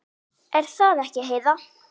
Er það ekki, Heiða?